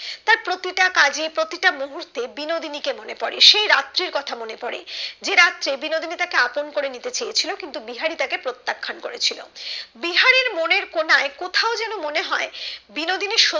প্রতিটা কাজে প্রতিটা মুহুর্ত্বে বিনোদিনী কে মনে পড়ে সেই রাত্রির কথা মনে পড়ে যে রাত্রে বিনোদিনী তাকে আপন করে নিতে চেয়েছিলো কিন্তু বিহারি তাকে প্রত্যাখ্যান করেছিল বিহারীর মনের কোণায় কোথাও যেন মনে হয় বিনোদিনী সত্যি